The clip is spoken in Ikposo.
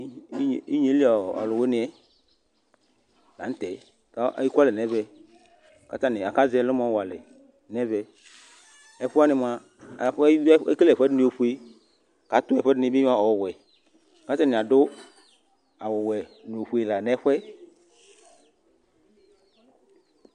inyieli ɔluwuinɛ la nu tɛ ekualɛ nɛvɛ Atanj akaʒɛ ɛlʋmʋ wɔalɛ nɛvɛ ɛkuani mua ekele ɛkʋadini ofue, atu ekʋadini bi owɔɛ katani adu adu ɔwɔ nʋ ofue la nu ɛfʋɛ